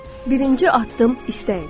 Birinci addım istəyin.